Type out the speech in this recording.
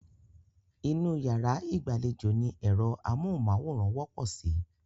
Inú yàrá ìgbàlejò ni ẹ̀rọ amóhùnmáwòrán wọ́pọ̀ sí.